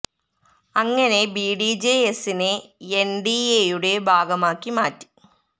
അങ്ങനെ B D J എസിനെ N D എയുടെ ഭാഗമാക്കി മാറ്റി